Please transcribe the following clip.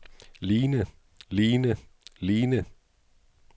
ligne ligne ligne